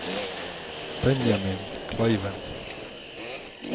Benjamin Kleiven